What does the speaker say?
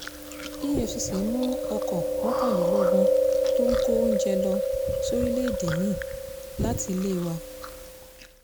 efcc mú ọkọ̀ mọ́kànlélógún tó ń kó oúnjẹ lọ sóríléèdè mi-ín látilé wá